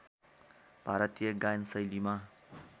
भारतीय गायन शैलीमा